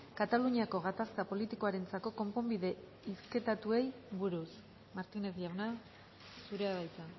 kataluniako gatazka politikoarentzako konponbide hizketatuei buruz martínez jauna zurea da hitza